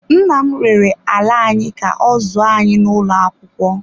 Nna m rere ala anyị ka ọ zụọ anyị n’ụlọ akwụkwọ.